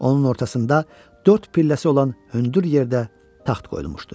Onun ortasında dörd pilləsi olan hündür yerdə taxt qoyulmuşdu.